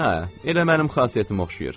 Hə, elə mənim xasiyyətimə oxşayır.